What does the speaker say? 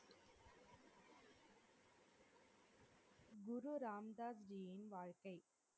குரு ராம்தாஸ்ஜியின் வாழ்க்கை